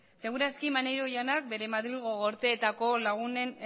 seguraski maneiro jaunak bere madrilgo gorteetako lagunen